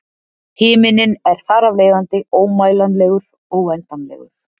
Himinninn er þar af leiðandi ómælanlegur, óendanlegur.